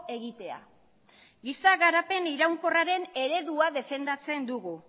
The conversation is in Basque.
egitea giza garapen iraunkorraren eredua defendatzen dugu